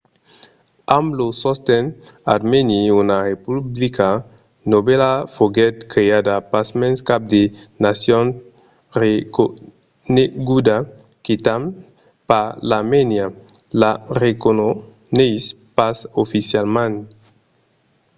amb lo sosten armèni una republica novèla foguèt creada. pasmens cap de nacion reconeguda – quitament pas l'armènia – la reconeis pas oficialament